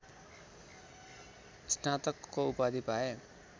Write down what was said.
स्नातकको उपाधि पाए